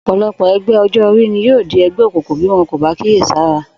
Ò̩pò̩lo̩pò̩ e̩gbé̩ o̩jó̩-orí ni yóò di e̩gbé̩ òkùnkùn bí wo̩n ò bá kíyèsára